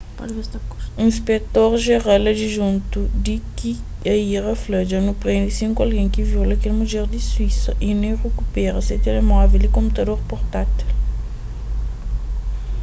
inspektor jeral adijuntu d k arya fla dja nu prende sinku algen ki viola kel mudjer di suísa y nu rikupera se telemóvel y konputador purtátil